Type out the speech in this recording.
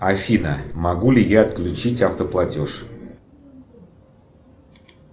афина могу ли я отключить автоплатеж